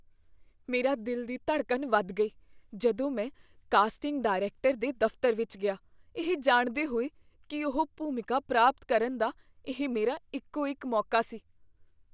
ਮੇਰਾ ਦਿਲ ਦੀ ਧੜਕਣ ਵਧ ਗਈ, ਜਦੋਂ ਮੈਂ ਕਾਸਟਿੰਗ ਡਾਇਰੈਕਟਰ ਦੇ ਦਫ਼ਤਰ ਵਿੱਚ ਗਿਆ, ਇਹ ਜਾਣਦੇ ਹੋਏ ਕੀ ਇਹ ਭੂਮਿਕਾ ਪ੍ਰਾਪਤ ਕਰਨ ਦਾ ਇਹ ਮੇਰਾ ਇੱਕੋ ਇੱਕ ਮੌਕਾ ਸੀ।